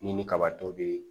Ni ni kabatɔ be